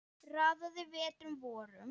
Raðaði vetrum vorum